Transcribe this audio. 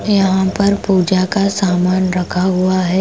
यहां पर पूजा का सामान रखा हुआ है ।